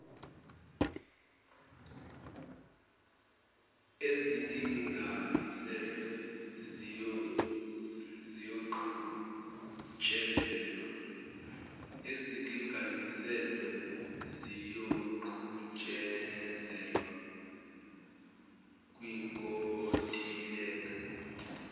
ezilinganiselwe ziyoqhutshezelwa kwinkontileka